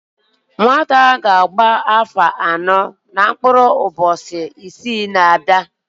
Nwata ahụ ga-agba áfọ̀ anọ na mkpụrụ ụbọchị isii na-abịa